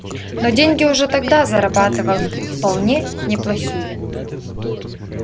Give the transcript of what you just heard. но деньги уже тогда зарабатывал вполне неплохие